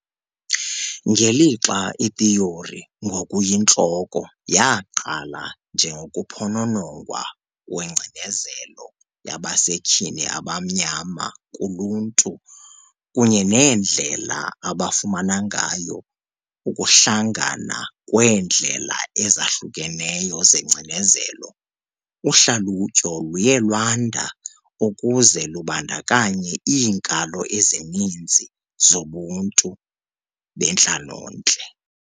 Ngelixa ithiyori ngokuyintloko yaqala njengokuphononongwa kwengcinezelo yabasetyhini abamnyama kuluntu kunye neendlela abafumana ngayo ukuhlangana kweendlela ezahlukeneyo zengcinezelo, uhlalutyo luye lwanda ukuze lubandakanye iinkalo ezininzi zobuntu bentlalontle.